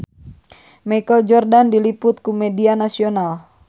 Michael Jordan diliput ku media nasional